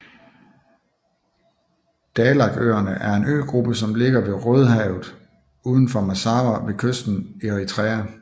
Dahlakøerne er en øgruppe som ligger i Rødehavet udenfor Massawa ved kysten af Eritrea